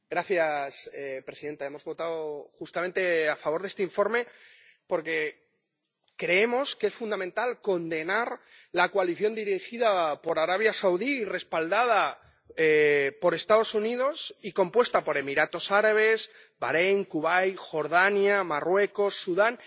Señora presidenta, hemos votado justamente a favor de este informe porque creemos que es fundamental condenar la coalición dirigida por Arabia Saudí, respaldada por Estados Unidos y compuesta por Emiratos Árabes, Baréin, Kuwait, Jordania, Marruecos, Sudán...